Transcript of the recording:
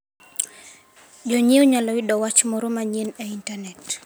Jonyiewo nyalo yudo wach moro manyien e Intanet.